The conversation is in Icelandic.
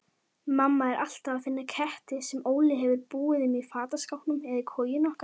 Þannig eru lífslíkur hinna hægfara minni